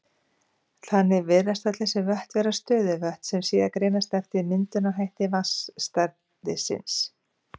Þannig virðast öll þessi vötn vera stöðuvötn, sem síðan greinast eftir myndunarhætti vatnsstæðisins.